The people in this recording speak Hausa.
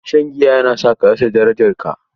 Shan giya yana sa ka rasa darajarka.